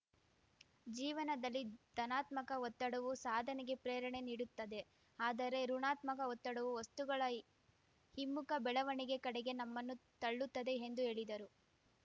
ಜೀವನದಲ್ಲಿ ಧನಾತ್ಮಕ ಒತ್ತಡವು ಸಾಧನೆಗೆ ಪ್ರೇರಣೆ ನೀಡುತ್ತದೆ ಆದರೆ ಋುಣಾತ್ಮಕ ಒತ್ತಡವು ವಸ್ತುಗಳ ಹಿಮ್ಮುಖ ಬೆಳವಣಿಗೆ ಕಡೆಗೆ ನಮ್ಮನ್ನು ತಳ್ಳುತ್ತದೆ ಎಂದು ಹೇಳಿದರು